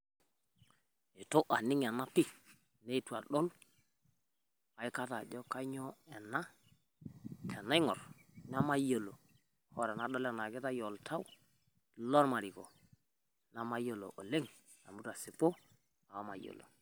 ituu eniing' ena pee netuu adol ekaata ajo kanyoo ena. Teneing'orr naimaiyeloo ore nadol onaikitai oltau lo maariko namaiyelo oleng amu aitisipuu namaiyeloo.